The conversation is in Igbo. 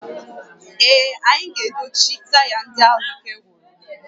Ee, anyị ga-edochi taya ndị ahụ ike gwụrụ